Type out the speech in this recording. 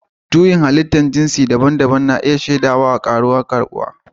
Juyin Halittar jinsi daban-daban a Najeriya ya nuna cewa kasar na iya shaida ƙaruwar karbuwa